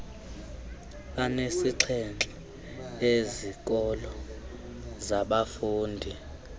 anesixhenxe ezikolo zabafundi